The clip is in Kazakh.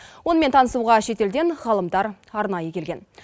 онымен танысуға шетелден ғалымдар арнайы келген